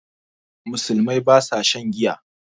Musulmai ba sa shan giya